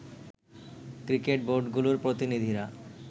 cricket বোর্ডগুলোর প্রতিনিধিরা